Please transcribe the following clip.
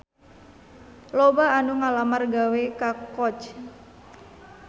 Loba anu ngalamar gawe ka Coach